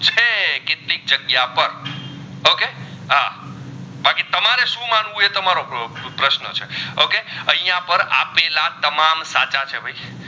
તમારો પ્રયોગ સૂ પ્રશ્ન છે okay અહીંયા પર આપેલા તમામ સાચા છે.